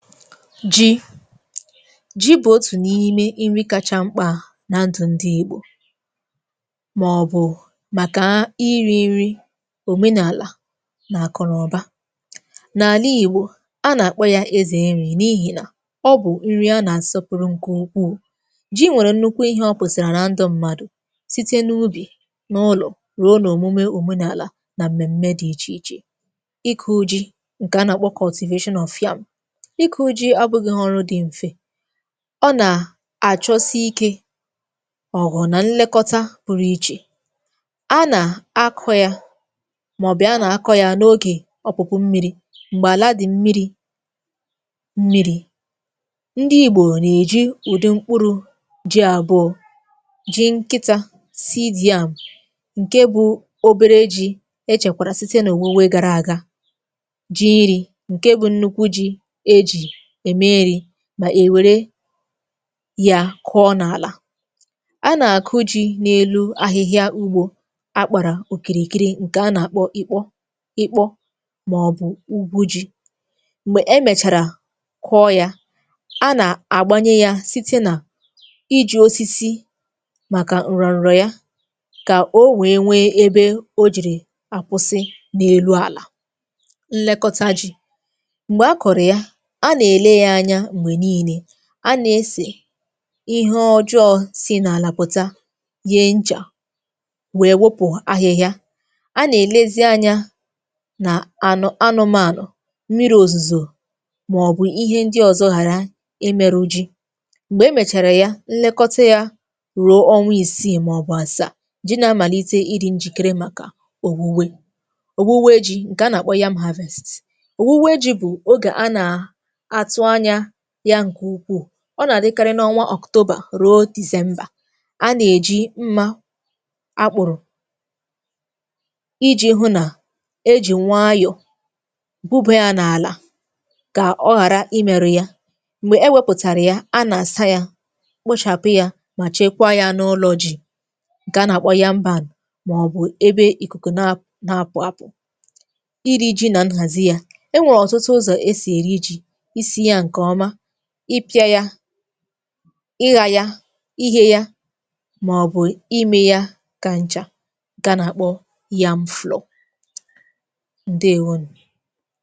Ji. ji bụ̀ otù n’ime iri kacha mkpà na ndụ̀ ndị ìgbò màọ̀bụ̀ màkà iri̇ nri òmenàlà nà àkụ nà ụba. N’àla ìgbò, a nà-àkpọ ya ezè nri̇ n’ihì nà ọ bụ̀ nri a nà-àsọpụrụ ǹkè ukwuù. Ji̇ nwèrè nnukwu ihe ọ pụtara na ndụ̇ mmadụ̀ site n’ubì, n’ụlọ̀, rụ̀ọ, nà òmume òmenàlà nà mmème dị̇ ichè ichè. Ịkụ ji, nke a na-akpọ cultivation of yam. Ịkụ ji abụgighị ọrụ dị mfe, ọ nà àchọsi ikė ọ̀gwụ̀ nà nlekọta pụrụ ichè, a nà a kụ̇ ya màọ̀bi a nà akọ̇ ya n’ogè ọpụ̀pụ mmiri̇ m̀gbè àla dị̀ mmiri̇ mmiri̇. Ndị igbò nà-èji ụdị mkpụrụ ji àbụọ ji nkịtȧ seed yam ǹke bụ̇ obere ji e chèkwàrà site n’òwuwe gara àga, ji iri̇ ǹke bụ̇ nnukwu ji e jì ème iri mà èwere yȧ kụọ n’àlà. A nà-àkụ ji̇ n’elu ahịhịa ugbȯ akpàrà òkìrìkiri ǹkè a nà-àkpọ ikpọ ikpọ màọbụ̀ ugwu ji̇, m̀gbè emèchàrà kụọ yȧ, a nà-àgbanyee ya site nà iji̇ osisi màkà ǹrọ̀ǹrọ̀ ya kà o wèe nwee ebe o jìrì àkwụsị n’elu àlà. Nlekọta ji̇. Mgbè akọrọ ya, a na-ele ya anya mgbe niile, a nà-esè ihe ọjọọ si nà-àlà pụ̀ta yie nchà wèe wụpụ̀ ahịhịa, a nà-èlezi anya na anụ ànụmȧnụ̀, mmiri̇ òzùzò, màọ̀bụ̀ ihe ndị ọ̀zọ ghàra imėru ji. Mgbè emèchàrà ya nlekọta yȧ ruo ọnwa ìsiì màọ̀bụ̀ àsàa ji nà-amàlite ịdị̇ njìkere màkà òwuwe. Òwuwe ji ǹkè a nà-àkpọ yam harvest òwuwe ji̇ bụ̀ oge a nà atụ anya ya nke ukwuu, ọ nà-àdịkarị n’ọnwa October ruo December, a nà-èji mmȧ akpụ̀rụ̀ iji̇ hụ nà ejì nwayọ̀ buba ya n’àlà kà ọ ghàra i mėru ya. Mgbè e wepụ̀tàrà ya a nà-àsa yȧ, kpochàpụ yȧ mà chekwa ya n’ụlọ̇ ji̇ nke a nà-àkpọ yȧm barn, màọbụ̀ ebe ìkùkù na-apụ̀ apụ̀. Ịri̇ ji nà nhàzi ya. Enwere ọtụtụ ụzọ esi eri ji, i si ya nke ọma, ị pịa ya, ị gha ya, ị ghe ya mà ọ̀ bụ̀ ime ya kà nchà nke a nà àkpọ yam flour. ǹdewȯnù.